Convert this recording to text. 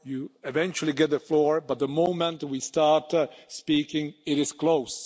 You eventually get the floor, but the moment we start speaking it is closed.